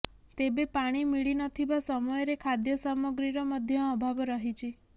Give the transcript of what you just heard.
ତେବେ ପାଣି ମିଳିନଥିବା ସମୟରେ ଖାଦ୍ୟସାମଗ୍ରୀର ମଧ୍ୟ ଅଭାବ ରହିଛି